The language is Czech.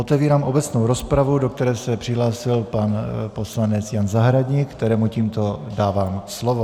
Otevírám obecnou rozpravu, do které se přihlásil pan poslanec Jan Zahradník, kterému tímto dávám slovo.